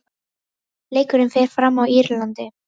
Leikurinn fer fram á Írlandi.